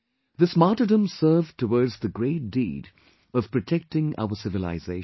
This martyrdom served towards the great deed of protecting our civilisation